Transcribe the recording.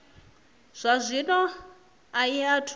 zwa zwino a i athu